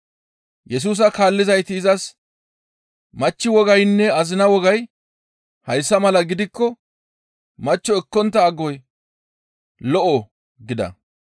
Yesusa kaallizayti izas, «Machchi wogaynne azina wogay hayssa mala gidikko machcho ekkontta agoy lo7o» gida.